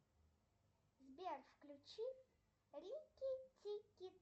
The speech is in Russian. сбер включи рики тики